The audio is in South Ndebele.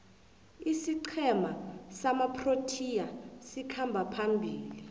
isiqhema samaproteas sikhamba phambili